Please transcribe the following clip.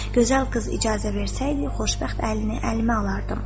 “Gözəl qız icazə versəydi, xoşbəxt əlini əlimə alardım.”